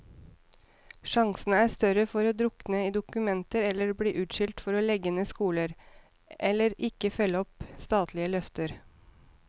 Sjansene er større for å drukne i dokumenter eller bli utskjelt for å legge ned skoler, eller ikke følge opp statlige løfter.